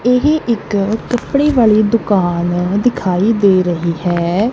ਇਹ ਇੱਕ ਕੱਪੜੇ ਵਾਲੀ ਦੁਕਾਨ ਦਿਖਾਈ ਦੇ ਰਹੀ ਹੈ।